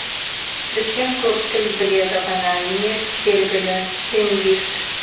дүкен көп тіл біледі ғана емес белгілі лингвист